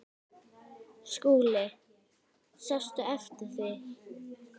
SKÚLI: Sástu eftir því?